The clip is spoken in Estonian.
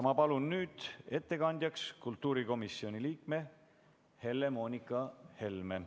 Ma palun nüüd ettekandjaks kultuurikomisjoni liikme Helle-Moonika Helme!